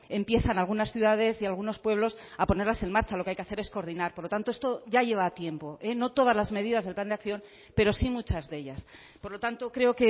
empiezan algunas ciudades y algunos pueblos a ponerlas en marcha lo que hay que hacer es coordinar por lo tanto esto ya lleva tiempo no todas las medidas del plan de acción pero sí muchas de ellas por lo tanto creo